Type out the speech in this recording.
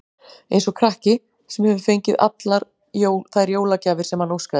Eins og krakki, sem hefur fengið allar þær jólagjafir sem hann óskaði sér.